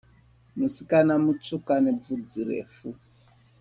Musikana musvuku ane vudzi refu.